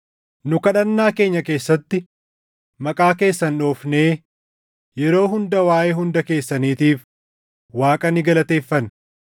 Nu kadhannaa keenya keessatti maqaa keessan dhoofnee yeroo hunda waaʼee hunda keessaniitiif Waaqa ni galateeffanna.